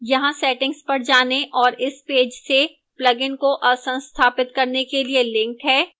यहाँ settings पर जाने और इस पेज से plugin को असंस्थापित करने के लिए links हैं